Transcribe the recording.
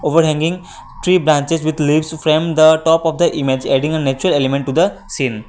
over hanging tree branches with leaves frame the top of the image adding a natural element to the scene.